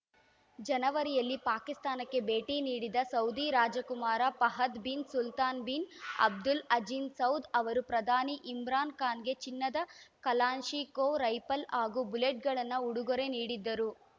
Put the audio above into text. ಜನವರಿಯಲ್ಲಿ ಪಾಕಿಸ್ತಾನಕ್ಕೆ ಭೇಟಿ ನೀಡಿದ ಸೌದಿ ರಾಜ ಕುಮಾರ Fahad bin Sultan bin Abdul Aziz Saud ಅವರು ಪ್ರಧಾನಿ ಇಮ್ರಾನ್‌ ಖಾನ್‌ಗೆ ಚಿನ್ನದ ಕಲಾನ್ಶಿಕೋ ರೈಫಲ್‌ ಹಾಗೂ ಬುಲೆಟ್‌ಗಳನ್ನು ಉಡುಗೊರೆ ನೀಡಿದ್ದರು